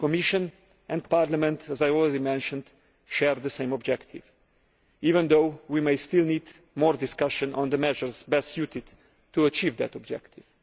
The Commission and Parliament, as I already mentioned, share the same objective, even though we may still need more discussion on the measures best suited to achieve that objective.